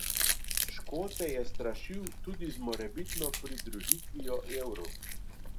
Škote je strašil tudi z morebitno pridružitvijo evru.